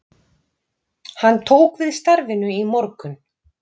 Hann tók við starfinu í morgun